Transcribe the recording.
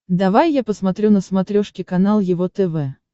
давай я посмотрю на смотрешке канал его тв